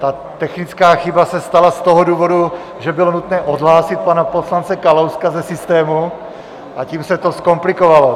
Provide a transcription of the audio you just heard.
Ta technická chyba se stala z toho důvodu, že bylo nutné odhlásit pana poslance Kalouska ze systému, a tím se to zkomplikovalo.